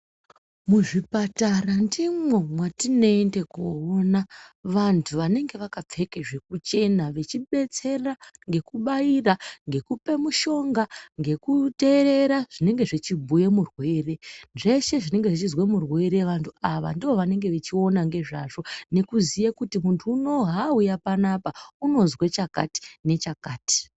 Muzvipatara ndimwo mwatineende koona vantu vanenge vakapfeke zvekuchena vachidetsera, ngekubaira, ngekupa midhonga, ngekuteera zvinenge zvichibhuya murwere. Zveshe zvinenge zvichinzwe murwere, antu ava ndivo vanenge vechiona ngezvazvo nekuziye kuti muntu uno hauya pano apa unozwe chakati nechakati.